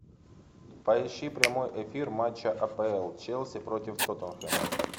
поищи прямой эфир матча апл челси против тоттенхэма